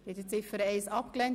Sie haben Ziffer 1 abgelehnt.